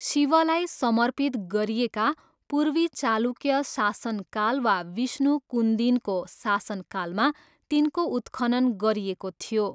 शिवलाई समर्पित गरिएका, पूर्वी चालुक्य शासनकाल वा विष्णुकुन्दिनको शासनकालमा तिनको उत्खनन गरिएको थियो।